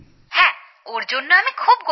হ্যাঁ ওঁর জন্য আমি খুব গর্বিত